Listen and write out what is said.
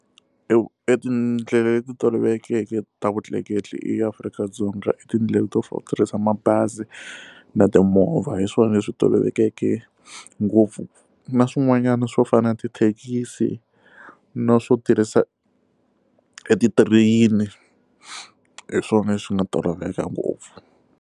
E vu etindlela leti tolovelekeke ta vutleketli eAfrika-Dzonga i tindlela to fana no tirhisa mabazi na timovha hi swona leswi tolovelekeke ngopfu na swin'wanyana swo fana na tithekisi na swo tirhisa etitireyini hi swona swi nga toloveleka ngopfu.